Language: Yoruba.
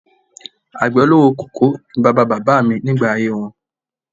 Àgbẹ̀ olówó koko ni bàbá bàbá mi nígbà ayé wọn